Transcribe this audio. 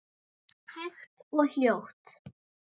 Hægt og hljótt?